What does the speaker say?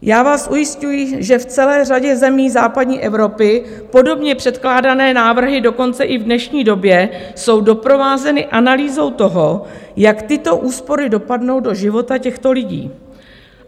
Já vás ujišťuji, že v celé řadě zemí západní Evropy podobně předkládané návrhy dokonce i v dnešní době jsou doprovázeny analýzou toho, jak tyto úspory dopadnou do života těchto lidí.